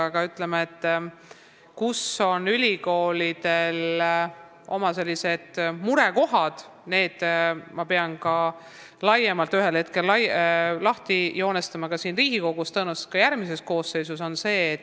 Aga selle, kus on ülikoolidel oma murekohad, ma pean ühel hetkel laiemalt ka siin Riigikogus lahti joonistama, tõenäoliselt ka järgmise koosseisu ajal.